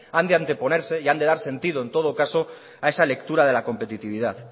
han de anteponerse y han de dar sentido en todo caso a esa lectura de la competitividad